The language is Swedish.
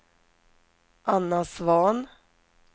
Anna Svahn